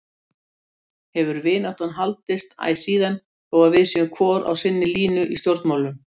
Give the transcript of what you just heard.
Hefur vináttan haldist æ síðan þó að við séum hvor á sinni línu í stjórnmálunum.